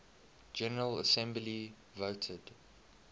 general assembly voted